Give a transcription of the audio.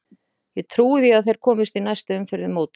Ég trúi því að þeir komist í næstu umferð í mótinu.